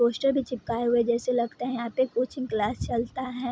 Poster भी चिपकाये हुए जैसे लगता है यहाँ पे कोचिंग क्लास चलता है।